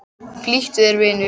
Flýttu þér, vinur.